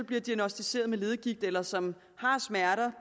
bliver diagnosticeret med leddegigt eller som har smerter